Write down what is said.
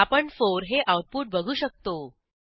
आपण 4 हे आऊटपुट बघू शकतो